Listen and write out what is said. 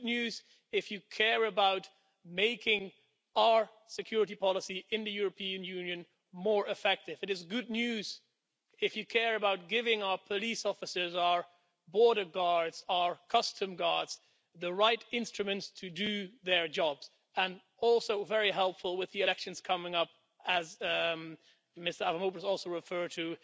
It is good news if you care about making our security policy in the European Union more effective. It is good news if you care about giving our police officers, our border guards, our custom guards, the right instruments to do their jobs and also very helpful with the elections coming up as Mr Avramopoulos also referred to.